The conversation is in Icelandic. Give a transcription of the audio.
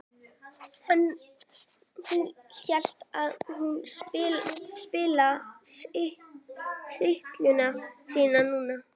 En hún lét það ekki spilla stillingu sinni núna.